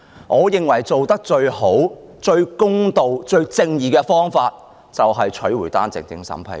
我認為最佳、最公道、最正義的方法，便是取回單程證審批權。